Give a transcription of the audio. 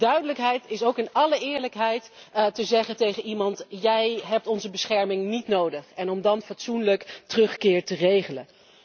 En duidelijkheid is ook in alle eerlijkheid tegen iemand zeggen Jij hebt onze bescherming niet nodig en dan een fatsoenlijke terugkeer regelen.